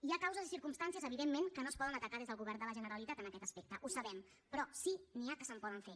hi ha causes i circumstàncies evidentment que no es poden atacar des del govern de la generalitat en aquest aspecte ho sabem però sí que n’hi que se’n poden fer